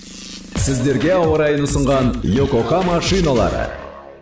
сіздерге ауа райын ұсынған йокохама шиналары